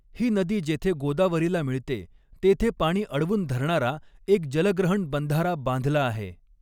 ही नदी जेथे गोदावरीला मिळते तेथे पाणी अडवून धरणारा एक जलग्रहण बंधारा बांधला आहे.